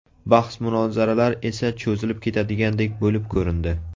Bahs-munozaralar esa cho‘zilib ketadigandek bo‘lib ko‘rindi.